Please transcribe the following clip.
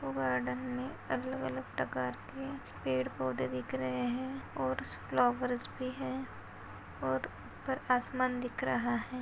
वो गार्डन मे अलग अलग प्रकार के पेड़ पौधे दिख रहे है और फ्लावर्स भी है और ऊपर आसमान दिख रहा है।